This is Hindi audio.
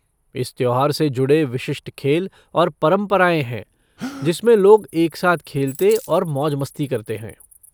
इस त्योहार से जुड़े विशिष्ट खेल और परंपराएं हैं जिसमें लोग एक साथ खेलते और मौज मस्ती करते हैं।